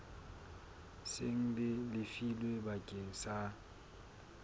seng le lefilwe bakeng sa